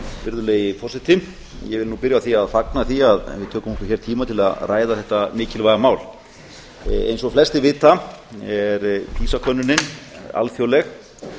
virðulegi forseti ég vil nú byrja á því að fagna því að við tökum okkur hér tíma til að ræða þetta mikilvæga mál eins og flestir vita er pisa könnunin alþjóðleg